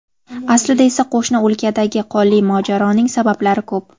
Aslida esa qo‘shni o‘lkadagi qonli mojaroning sabablari ko‘p.